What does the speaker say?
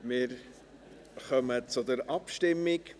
Wir kommen zur Abstimmung.